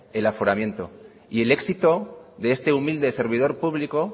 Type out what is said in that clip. el aforamiento y el éxito de este humilde servidor público